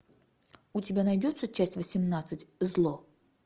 у тебя найдется часть восемнадцать зло